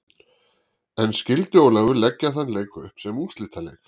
En skyldi Ólafur leggja þann leik upp sem úrslitaleik?